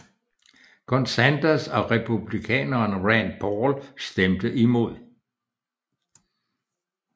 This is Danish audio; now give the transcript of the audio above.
Kun Sanders og Republikaneren Rand Paul stemte imod